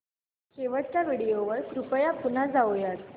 शेवटच्या व्हिडिओ वर कृपया पुन्हा जाऊयात